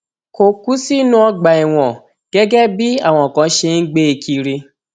kò kú sí inú ọgbà ẹwọn gẹgẹ bí àwọn kan ṣe ń gbé e kiri